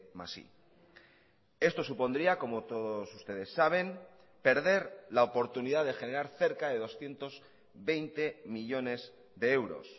más i esto supondría como todos ustedes saben perder la oportunidad de generar cerca de doscientos veinte millónes de euros